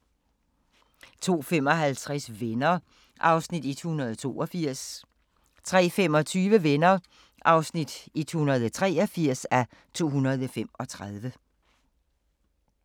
02:55: Venner (182:235) 03:25: Venner (183:235)